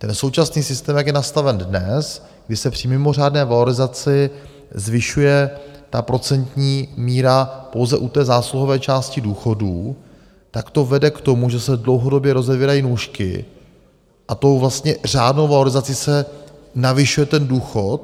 Ten současný systém, jak je nastaven dnes, kdy se při mimořádné valorizaci zvyšuje ta procentní míra pouze u té zásluhové části důchodů, tak to vede k tomu, že se dlouhodobě rozevírají nůžky, a tou vlastně řádnou valorizaci se navyšuje ten důchod.